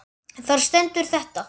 Þar stendur þetta